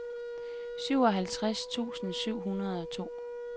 syvoghalvtreds tusind syv hundrede og to